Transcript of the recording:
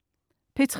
P3: